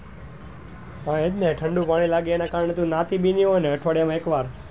હા એ જ ને ઠંડુ પાણી લાગે એના કારણે તું નાતી બી ની હોય ને અઠવાડિયા માં એક વાર,